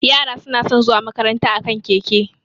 Yara suna san zuwa makaranta a kan keke